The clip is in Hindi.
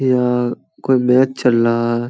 यह कोई मैच चल रहा है।